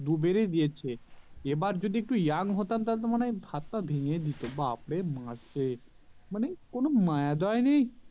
দু বারি দিয়েছে এবার যদি একটু young হতাম তাহলে তো মনে হয় হাত পা ভেঙে দিতো ব্যাপারে মারছে মানে কোনো মায়া দোয়া নেই